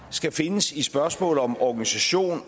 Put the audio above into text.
skal findes i spørgsmål om organisation